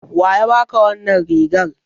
Wa ya baka wannan rigar?